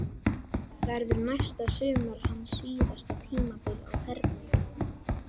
Verður næsta sumar hans síðasta tímabil á ferlinum?